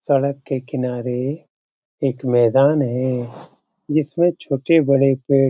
सड़क के किनारे एक मैदान है जिसमे छोटे बड़े पेड़ --